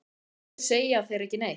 Af hverju segja þeir ekki neitt?